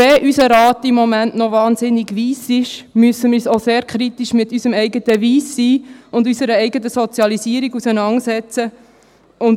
Selbst wenn unser Rat im Moment noch wahnsinnig weiss ist, müssen wir uns auch sehr kritisch mit unserem eigenen Weiss-Sein und mit unserer eigenen Sozialisierung auseinandersetzen.